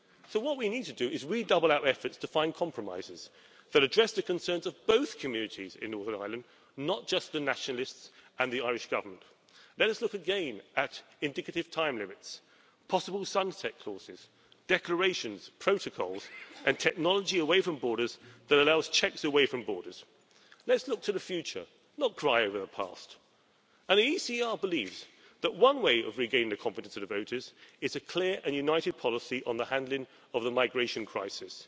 What we need to do is redouble our efforts to find compromises that address the concerns of both communities in Northern Ireland, not just the Nationalists and the Irish Government. Let us look again at indicative time limits, possible sunset clauses, declarations, protocols and technology away from borders that allows checks away from borders. Let's look to the future, not cry over the past. The ECR believes that one way of regaining the confidence of the voters is a clear and united policy on the handling of the migration crisis.